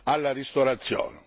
alla ristorazione.